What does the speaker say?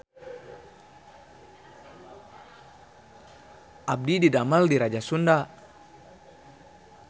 Abdi didamel di Raja Sunda